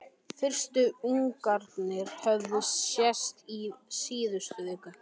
Fyrstu ungarnir höfðu sést í síðustu viku.